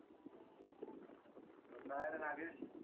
काय रे नागेश?